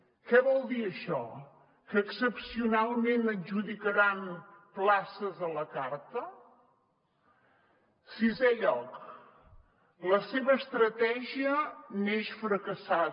què vol dir això que excepcionalment adjudicaran places a la carta sisè lloc la seva estratègia neix fracassada